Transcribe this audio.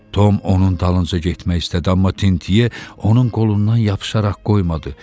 Tom onun dalınca getmək istədi, amma Tintye onun qolundan yapışaraq qoymadı.